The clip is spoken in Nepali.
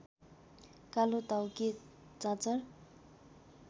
कालोटाउके चाँचर